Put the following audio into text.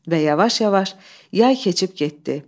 Və yavaş-yavaş yay keçib getdi.